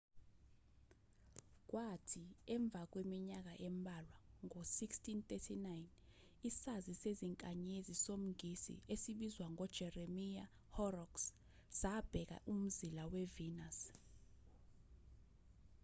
kwathi emva kweminyaka embalwa ngo-1639 isazi sezinkanyezi somngisi esibizwa ngo-jeremiya horrocks sabheka umzila we-venus